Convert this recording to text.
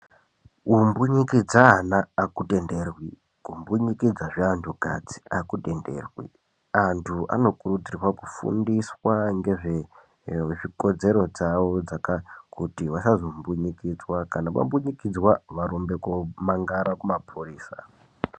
Kumbunyikidze ana akutenderwi kumbunyikidzazve antu kadzi akutenderwi antu anokurudzirwa kufundiswa ngezve ee zvikodzero dzawo kuti vasazombunyikidzwa kana vambunyikidzwa varumbe komangara kumapurisa.